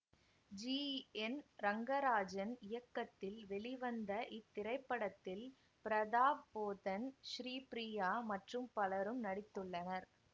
G N Rangarajan இயக்கத்தில் வெளிவந்த இத்திரைப்படத்தில் பிரதாப் போத்தன் ஸ்ரீபிரியா மற்றும் பலரும் நடித்துள்ளனர்